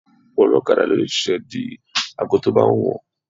Ọ̀pọ̀ ọlọ́kada ló lè ṣiṣẹ́ di aago tó bá wù wọ́n